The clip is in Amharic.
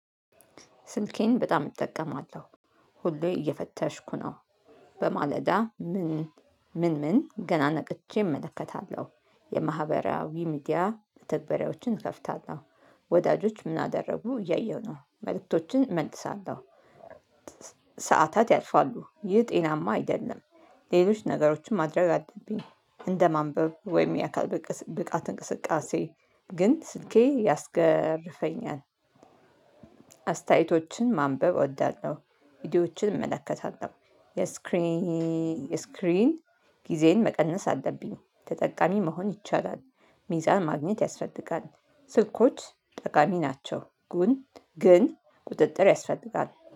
ስልኬን በጣም እጠቀማለሁ ሁሌ እየፈተሽኩ ነው። በማለዳ ምን ምን ምን ገና ነቅቼ እመለከታለሁ የማህበራዊ ሚዲያ መተግባራዎችን እከፍታለሁ። ወዳጆች ምን አደረጉ እያየሁ ነው መልእክቶችን እመልሳለሁ። ሰዓታት ያልፋሉ ይህ ጤናማ አይደለም። ሌሎች ነገሮችን ማድረግ አለብኝ እንደማንበብ ወይም የአካል ብቃት እንቅስቃሴ ግን ስልኬ ያስገርፈኛል። አስተያየቶችን ማንበብ እወዳለሁ ቪዲዮዎችን እመለከታለሁ የስክሪን የስክሪን ጊዜዬን መቀነስ አለብኝ ተጠቃሚ መሆን ይቻላል። ሚዛን ማግኘት ያስፈልጋል። ስልኮች ጠቃሚ ናቸው ጉን ግን ቁጥጥር ያስፈልጋል